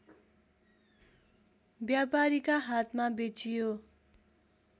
व्यापारीका हातमा बेचियो